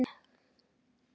Þannig var Addi.